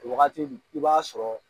Wagati min i b'a sɔrɔ